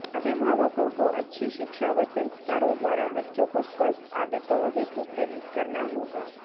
अभिभावकों को अच्छी शिक्षा व संस्कारों द्वारा बच्चों को स्वस्थ आदतों हेतु प्रेरित करना होगा